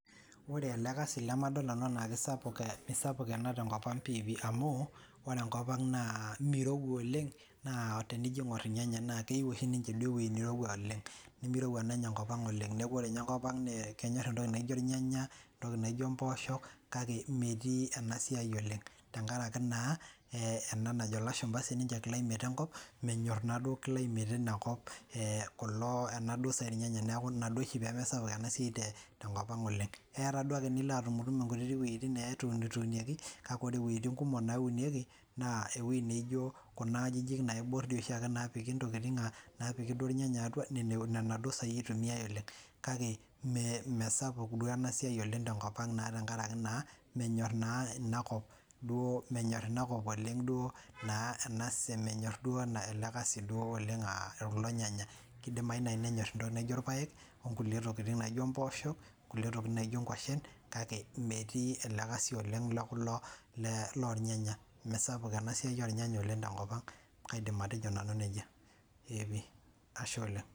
Ore ele kasi lemadol nanu enaa kisapuk eh misapuk ena tenkop ang piipi amu ore enkop ang naa mirowua oleng naa tenijio aing'orr irnyanya na keiu oshi ninche duo ewuei nirowua oleng nemirowua naanye enkop ang oleng neeku ore inye enkop ang nee kenyorr entoki naijio irnyanya entoki naijio impoosho kake imetii ena siai oleng tenkaraki naa eh ena najo ilashumpa sininche climate enkop menyorr naaduo climate inakop eh kulo enaduo saai irnyanya niaku inaduo oshi pemesapuk ena siai te tenkop oleng eya taa duake nilo atumutum inkuti wueitin neetunitunieki kake ore iwueitin kumok naunieki naa ewuei neijio kuna ajijik naiborr dii oshiake napiki intokiting uh napiki duo irnyanya atua nena duo saai itumiae oleng kake ime mesaouk duo ena ena sia tenkop ang naa tenkarake naa menyorr naa inakop menyorr inakop oleng duo naa ena se menyorr duo ena ele kasi duo oleng uh kulo nyanya kidimai naai nenyorr entoki naijio irpayek onkulie tokiting naijio impooshok onkulie tokitin naijio inkuashen kake imetii ele kasi oleng le kulo le lornyanya mesapuk ena siai ornyanya oleng tenkop ang kaidim atejo nanu nejia eepi ashe oleng.